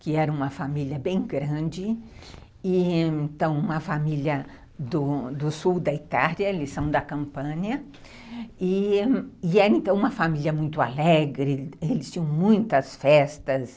que era uma família bem grande, então uma família do sul da Itália, eles são da Campânia, e era então uma família muito alegre, eles tinham muitas festas.